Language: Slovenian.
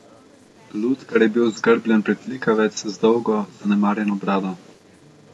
Lutkar je bil zgrbljen pritlikavec z dolgo, zanemarjeno brado.